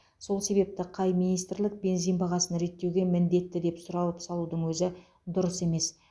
сол себепті қай министрлік бензин бағасын реттеуге міндетті деп сұрауып салудың өзі дұрыс емес